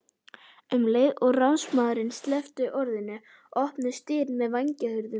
Um leið og ráðsmaðurinn sleppti orðinu opnuðust dyr með vængjahurðum.